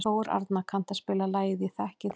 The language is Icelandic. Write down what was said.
Þórarna, kanntu að spila lagið „Ég þekki þig“?